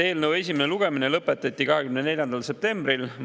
Eelnõu esimene lugemine lõpetati 24. septembril.